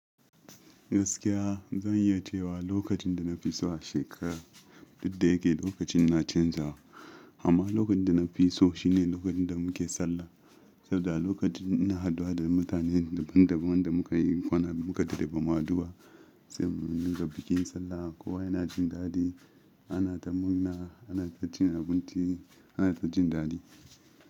Gaskiya zan yi cewa lokacin da na fi so a shekara duk da yake lokacin na canzawa amma lokacin da na fi so shine lokacin da muke Sallah. Saboda lokacin ina haduwa da mutanen daban daban da muka yi kwana biyu mukadade bamu hadu ba. Sai muna buga bikin Sallah kowa yana jin daɗi ana ta murna anata cin abinci ana ta jin daɗi.